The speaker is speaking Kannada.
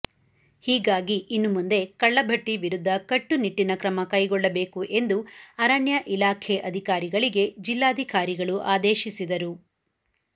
ಹೀಗಾಗಿ ಇನ್ನು ಮುಂದೆ ಕಳ್ಳಬಟ್ಟಿ ವಿರುದ್ಧ ಕಟ್ಟುನಿಟ್ಟಿನ ಕ್ರಮ ಕೈಗೊಳ್ಳಬೇಕು ಎಂದು ಅರಣ್ಯ ಇಲಾಖೆ ಅಧಿಕಾರಿಗಳಿಗೆ ಜಿಲ್ಲಾಧಿಕಾರಿಗಳು ಆದೇಶಿಸಿದರು